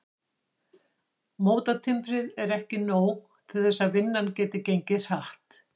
Mótatimbrið er ekki nóg til þess að vinnan geti gengið hratt.